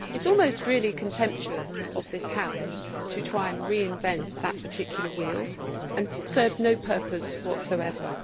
It is almost really contemptuous of this House to try and reinvent that particular wheel and serves no purpose whatsoever.